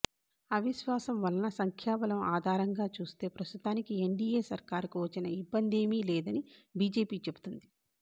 అవిశ్వాసం వలన సంఖ్యా బలం ఆధారంగా చూస్తే ప్రస్తుతానికి ఎన్డిఎ సర్కారుకు వచ్చిన ఇబ్బందేమీ లేదని బిజెపి చెబుతోంది